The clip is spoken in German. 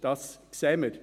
Das sehen wir.